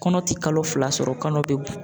Kɔnɔ ti kalo fila sɔrɔ kɔnɔ be